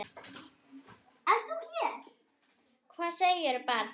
Hvað segirðu barn?